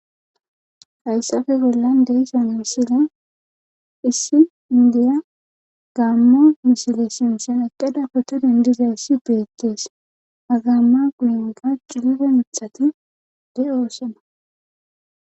hayssafe bollan deisan misilen issi indiya gammo misile sintsen eqqeda potodindizayssi beettees agamma guinga juure mithati de oosena